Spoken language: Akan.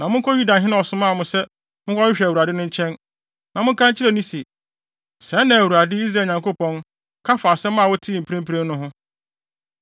Na monkɔ Yudahene a ɔsomaa mo sɛ monkɔhwehwɛ Awurade no nkyɛn, na monka nkyerɛ no se, ‘Sɛɛ na Awurade, Israel Nyankopɔn, ka fa asɛm a motee mprempren no ho.